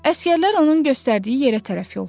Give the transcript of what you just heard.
Əsgərlər onun göstərdiyi yerə tərəf yollandılar.